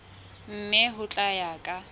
mme ho tla ya ka